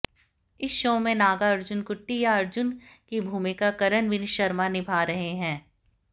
इस शो में नागार्जुन कुट्टी या अर्जुन की भूमिका करणवीर शर्मा निभा रहे हैं